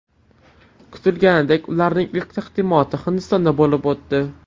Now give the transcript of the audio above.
Kutilganidek, ularning ilk taqdimoti Hindistonda bo‘lib o‘tdi.